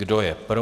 Kdo je pro?